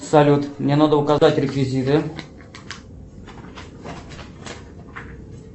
салют мне надо указать реквизиты